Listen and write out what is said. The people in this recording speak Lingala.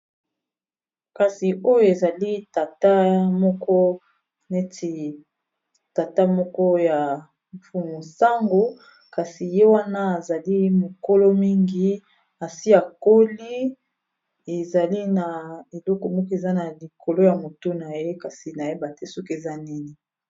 Kasi oyo ezali tata moko neti tata moko ya fumusango kasi ye wana ezali mokolo mingi asia koli ezali na eleko moko eza na likolo ya motu na ye kasi nayeba te soki eza nini.